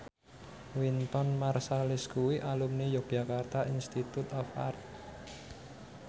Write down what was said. Wynton Marsalis kuwi alumni Yogyakarta Institute of Art